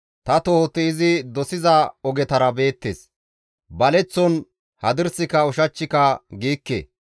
Ta tohoti izi dosiza ogetara beettes; baleththon hadirsika ushachchika giikke.